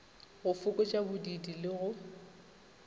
go fokotša bodiidi le go